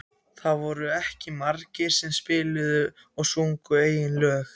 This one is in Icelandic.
Það voru ekki margir sem spiluðu og sungu eigin lög.